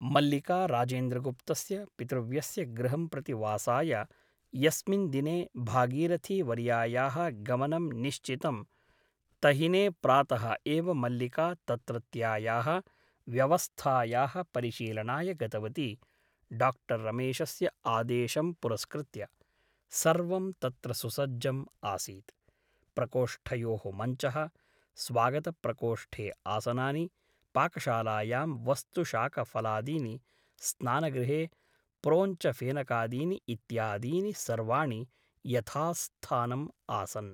मल्लिका राजेन्द्रगुप्तस्य पितृव्यस्य गृहं प्रति वासाय यस्मिन् दिने भागीरथीवर्यायाः गमनं निश्चितं तहिने प्रातः एव मल्लिका तत्रत्यायाः व्यवस्थायाः परिशीलनाय गतवती डाक्टर् रमेशस्य आदेशं पुरस्कृत्य । सर्वं तत्र सुसज्जम् आसीत् । प्रकोष्ठयोः मञ्चः , स्वागतप्रकोष्ठे आसनानि , पाकशालायां वस्तुशाकफलादीनि , स्नानगृहे प्रोञ्छफेनकादीनि इत्यादीनि सर्वाणि यथास्थानम् आसन् ।